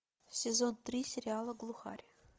сезон три сериала глухарь